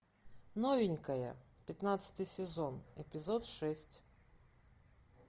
новенькая пятнадцатый сезон эпизод шесть